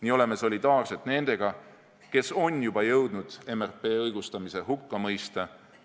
Nii oleme solidaarsed nendega, kes on juba jõudnud MRP õigustamise hukka mõista.